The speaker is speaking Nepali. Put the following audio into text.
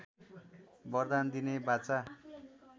बरदान दिने बाचा